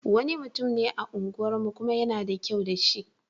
Wani mutum ne a unguwarmu, kuma yana da kyau da shi.